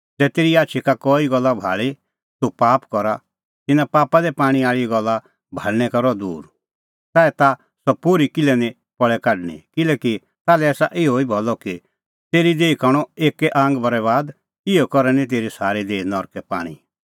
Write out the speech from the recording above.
ज़ै तेरी आछी का कई गल्ला भाल़ी तूह पाप करा ता तिन्नां पापा दी पाणै आल़ी गल्ला भाल़णैं छ़ाड च़ाऐ ताह सह पोर्ही किल्है निं पल़े काढणीं किल्हैकि ताल्है आसा अहैई भलअ कि तेरी देही का हणअ एक्कै आंग बरैबाद इहअ करै निं तेरी सारी देही नरकै पाणीं